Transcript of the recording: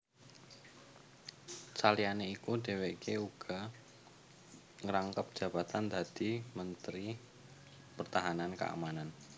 Saliyané iku dhèwèké uga ngrangkep jabatan dadi dadi Mentri Pertahanan Keamanan